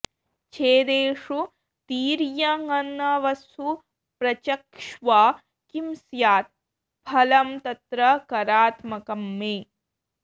छेदेषु तिर्य्यङनवसु प्रचक्ष्व किं स्यात् फलं तत्र करात्मकं मे